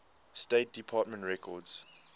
state department records